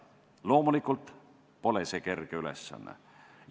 Loomulikult pole see kerge ülesanne.